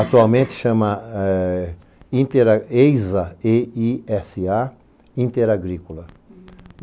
Atualmente chama EISA, E-I-S-A, Interagrícola.